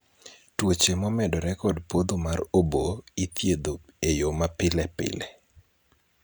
tuoche momedore kod podho mar obo ithiedho eyo ma pile pile